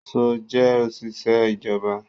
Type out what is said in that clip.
Ṣọl jẹ́ òṣìṣẹ́ ìjọba.